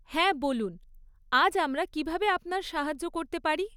হ্যাঁ, বলুন, আজ আমরা কীভাবে আপনার সাহায্য করতে পারি?